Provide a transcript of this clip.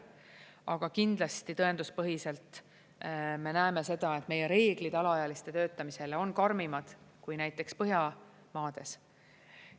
Aga kindlasti tõenduspõhiselt me näeme seda, et meie reeglid alaealiste töötamisele on karmimad kui näiteks Põhjamaades.